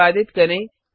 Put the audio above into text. निष्पादित करें